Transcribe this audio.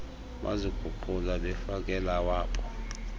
baziguqula befakela awabo